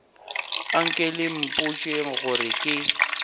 anke le mpotšeng gore ke